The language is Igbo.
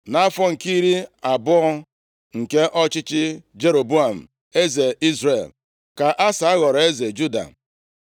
Nʼafọ nke iri abụọ nke ọchịchị Jeroboam eze Izrel, ka Asa ghọrọ eze Juda.